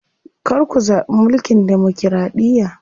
Kar ku zaɓi mulkin demokiraɗiya.